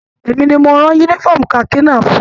Èmi ní mo rán yúnífọ̀ọ́mù kaki náà fún ùn.